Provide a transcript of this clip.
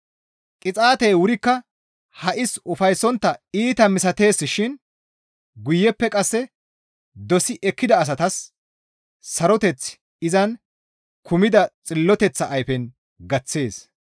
Qixaatey wurikka ha7is ufayssontta iita misatees shin guyeppe qasse dosi ekkida asatas saroteththi izan kumida xilloteththa ayfen gaththees.